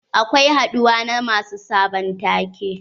Akwai haduwa na masu sabon take.